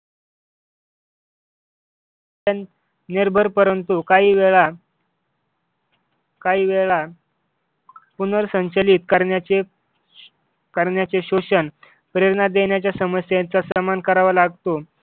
निर्भय परंतु काही वेळा काही वेळा पुनर्संचयित करण्याचे करण्याची शोषण प्रेरणा देण्याच्या समस्यांचा सन्मान करावा लागतो.